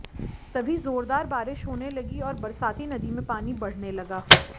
तभी जोरदार बारिश होने लगी और बरसाती नदी में पानी बढ़ने लगा